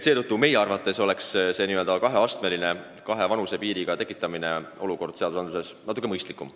Seetõttu on meie arvates n-ö kaheastmeline, kahe kehtestatud vanusepiiriga lahendus natuke mõistlikum.